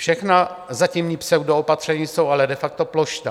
Všechna zatímní pseudoopatření jsou ale de facto plošná.